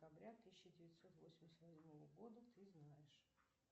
декабря тысяча девятьсот восемьдесят восьмого года ты знаешь